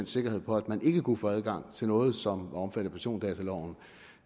sikkerhed for at man ikke kunne få adgang til noget som var omfattet af persondataloven